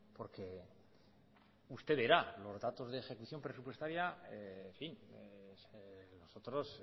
porque usted verá los datos de ejecución presupuestaria en fin nosotros